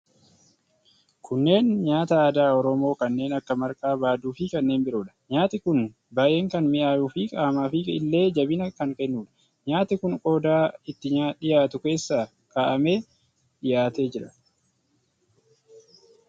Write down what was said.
Kunneen nyaata aadaa Oromoo kanneen akka marqaa, baaduu fi kanneen biroodha. Nyaati kun baay'ee kan mi'aayu fi qaamaafi illee jabina kan kennudha. Nyaati kun qodaa itti dhiyaatu keessa kaa'amee dhiyaatee jira.